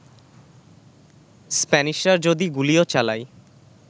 স্প্যানিশরা যদি গুলিও চালায়